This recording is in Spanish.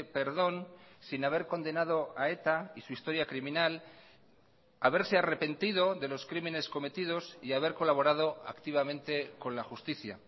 perdón sin haber condenado a eta y su historia criminal haberse arrepentido de los crímenes cometidos y haber colaborado activamente con la justicia